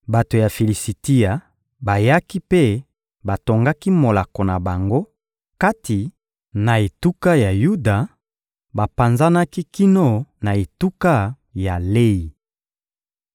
Bato ya Filisitia bayaki mpe batongaki molako na bango kati na etuka ya Yuda, bapanzanaki kino na etuka ya Leyi.